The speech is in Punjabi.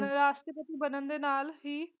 ਰਾਸ਼ਟਰਪਤੀ ਬਨਣ ਦੇ ਨਾਲ ਹੀ।